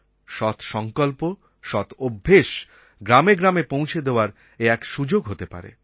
সৎ সংকল্প সৎ অভ্যাস গ্রামে গ্রামে পৌঁছে দেওয়ার এ এক সুযোগ হতে পারে